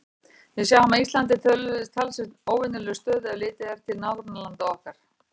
Við sjáum að Ísland er í talsvert óvenjulegri stöðu, ef litið er til nágrannalanda okkar.